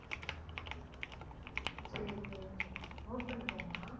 சரி சரி சரி note பண்ணிக்கோங்க